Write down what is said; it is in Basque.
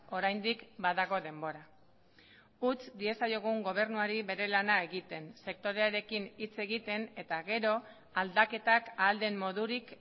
oraindik badago denbora utz diezaiogun gobernuari bere lana egiten sektorearekin hitz egiten eta gero aldaketak ahal den modurik